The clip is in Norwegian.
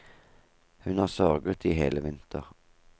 Hun har sørget i hele vinter.